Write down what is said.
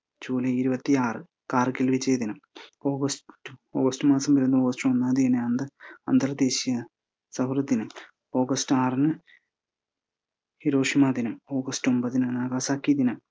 July ഇരുപത്തിയാറ് കാർഗിൽ വിജയ ദിനം. ഓഗസ്റ്റ്~ ഓഗസ്റ്റ് മാസം വരുന്ന ഒന്നാം തീയതി ആയത് കൊണ്ട് അന്തർദേശിയ സൗഹൃദ ദിനം, ഓഗസ്റ്റ് ആറിന് ഹിരോഷിമ ദിനം, ഓഗസ്റ്റ് ഒമ്പതിന് നാഗാസാക്കിയ ദിനം.